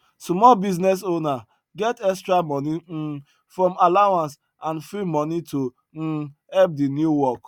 small business owner get extra moni um from allowance and free money to um help the new work